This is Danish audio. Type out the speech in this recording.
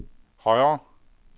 højere